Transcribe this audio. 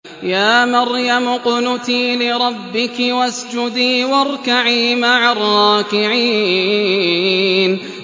يَا مَرْيَمُ اقْنُتِي لِرَبِّكِ وَاسْجُدِي وَارْكَعِي مَعَ الرَّاكِعِينَ